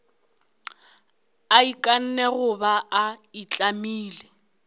a ikanne goba a itlamile